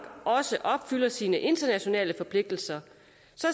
også opfylder sine internationale forpligtelser